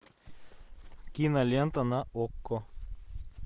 кинолента на окко